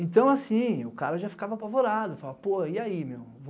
Então assim, o cara já ficava apavorado, falava, pô, e aí, meu?